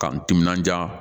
K'an timinandiya